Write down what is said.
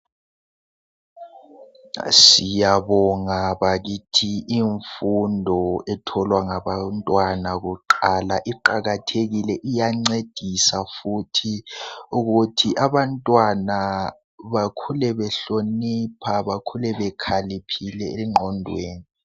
Siyabonga bakithi imfundo etholwa ngabantwana kuqala iqakathekile iyancedisa futhi ukuthi abantwana bakhule behlonipha bakhule bekhaliphile engqondweni.